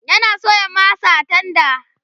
yana soya masa a tenda